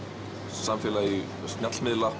samfélagi